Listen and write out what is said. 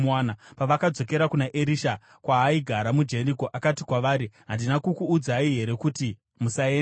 Pavakadzokera kuna Erisha, kwaaigara muJeriko, akati kwavari, “Handina kukuudzai here kuti musaenda?”